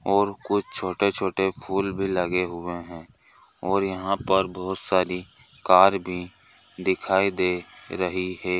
और कुछ छोटे-छोटे फूल भी लगे हुए हैं और यहाँ पर बहुत सारी कार भी दिखाई दे रही है।